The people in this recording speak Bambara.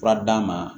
Fura d'a ma